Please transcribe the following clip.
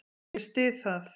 Ég styð það.